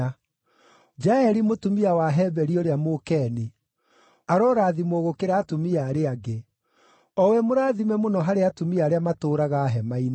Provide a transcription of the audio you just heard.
“Jaeli mũtumia wa Heberi ũrĩa Mũkeni, arorathimwo gũkĩra atumia arĩa angĩ, o we mũrathime mũno harĩ atumia arĩa matũũraga hema-inĩ.